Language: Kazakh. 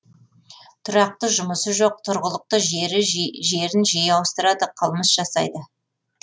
тұрақты жұмысы жоқ тұрғылықты жерін жиі ауыстырады қылмыс жасайды